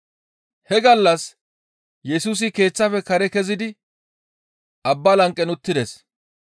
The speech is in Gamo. He gallas Yesusi keeththafe kare kezidi abbaa lanqen uttides.